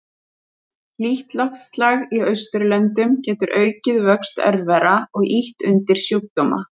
Hlýtt loftslag í Austurlöndum getur aukið vöxt örvera og ýtt undir sjúkdóma.